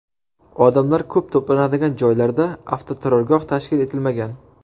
Odamlar ko‘p to‘planadigan joylarda avtoturargoh tashkil etilmagan.